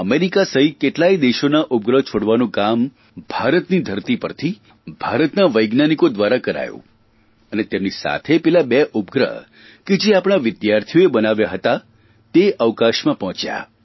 America સહિત કેટલાય દેશોના ઉપગ્રહ છોડવાનું કામ ભારતની ધરતી પરથી ભારતના વૈજ્ઞાનિકો દ્વારા કરાયું અને તેમની સાથે પેલા બે ઉપગ્રહ કે જે આપણા વિદ્યાર્થીઓએ બનાવ્યા હતા તે અવકાશમાં પહોંચ્યા